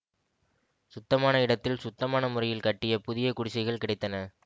சுத்தமான இடத்தில் சுத்தமான முறையில் கட்டிய புதிய குடிசைகள் கிடைத்தன